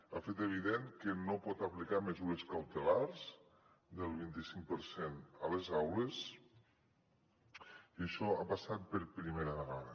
ha fet evident que no pot aplicar mesures cautelars del vint i cinc per cent a les aules i això ha passat per primera vegada